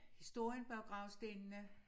Historien bag gravstenene